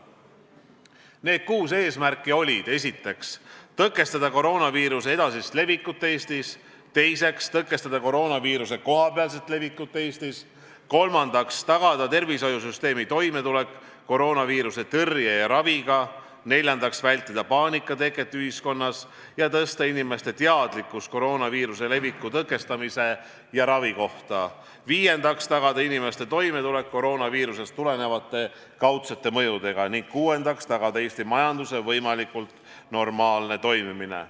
Need kuus eesmärki olid järgmised: esiteks, tõkestada koroonaviiruse edasist levikut Eestisse; teiseks, tõkestada koroonaviiruse kohapealset levikut Eestis; kolmandaks, tagada tervishoiusüsteemi toimetulek koroonaviiruse tõrje ja raviga; neljandaks, vältida paanika teket ühiskonnas ja tõsta inimeste teadlikkust koroonaviiruse leviku tõkestamise ja ravi kohta; viiendaks, tagada inimeste toimetulek koroonaviirusest tulenevate kaudsete mõjudega; kuuendaks, tagada Eesti majanduse võimalikult normaalne toimimine.